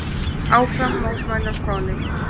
Áfram mótmæli á Spáni